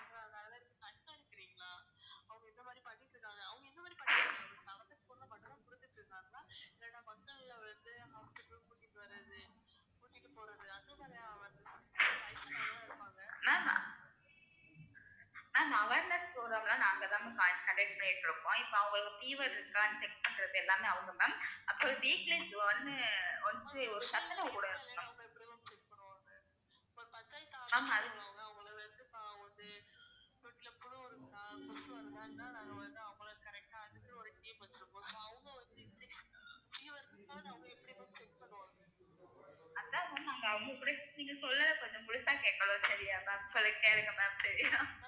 அதான் ma'am அவுங்க அவங்ககூட நீங்க சொல்ல கொஞ்சம் முழுசா கேக்கணும் சரியா maam, so இதை கேளுங்க ma'am சரியா